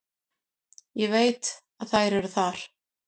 Ég veit að þær eru þar.